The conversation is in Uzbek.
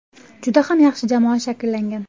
Juda ham yaxshi jamoa shakllangan.